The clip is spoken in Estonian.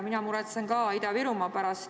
Mina muretsen ka Ida-Virumaa pärast.